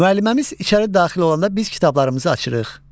Müəlliməmiz içəri daxil olanda biz kitablarımızı açırıq.